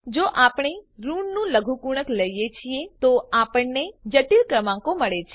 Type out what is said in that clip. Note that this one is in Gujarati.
જો આપણે ઋણનું લઘુગુણક લઈએ છીએ તો આપણને જટિલ ક્રમાંકો મળે છે